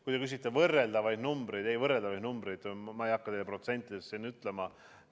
Kui te küsite võrreldavaid numbreid, siis ei, võrreldavaid numbreid ma ei hakka teile protsentides ütlema.